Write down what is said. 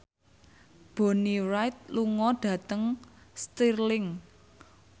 Bonnie Wright lunga dhateng Stirling